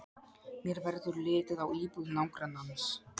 Mér verður litið á íbúð nágrannans.